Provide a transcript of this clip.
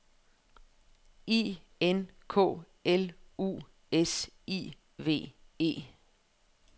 I N K L U S I V E